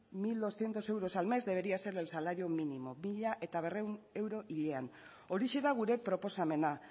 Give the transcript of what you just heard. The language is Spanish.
mil doscientos euros al mes debería ser el salario mínimo mila berrehun euro hilean horixe da gure proposamena